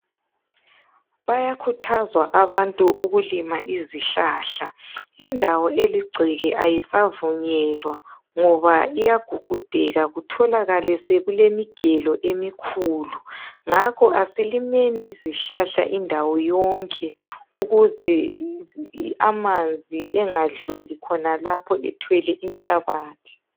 Bayakhuthazwa abantu ukulima izihlahla. Indawo eligceke kayisavunyelwa, ngoba iyagugudeka. Kutholakale sekulemigelo emikhulu. Ngakho kasilimeni izihlahla indawo yonke ukuze amanzi angadluli khonalapho ethwele inhlabathi.